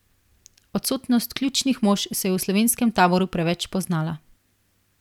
Odsotnost ključnih mož se je v slovenskem taboru preveč poznala.